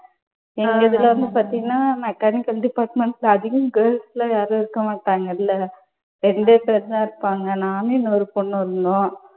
இதுல வந்து பார்த்தீனா மெக்கானிக்கல் department ல அதிகம் girls எல்லாம் யாரும் இருக்கமாட்டாங்க அதுல, ரெண்டே பேரு தான் இருப்பாங்க, நானு, இன்னொரு பொண்ணு ஒன்னும்.